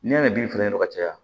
N'i y'a ni bin fen kelen ka caya